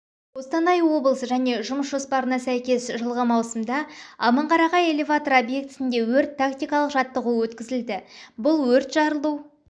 қостанай облысы және жұмыс жоспарына сәйкес жылғы маусымда аманқарағай элеваторы объектісінде өрт-тактикалық жаттығуы өткізілді бұл өрт-жарылу